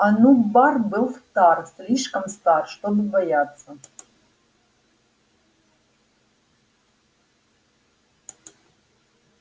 онум бар был стар слишком стар чтобы бояться